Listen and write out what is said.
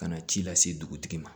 Ka na ci lase dugutigi ma